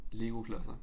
Legoklodser